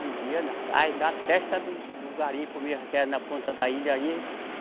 Vendia na praia, na testa do, do garimpo mesmo, que era na ponta da ilha aí.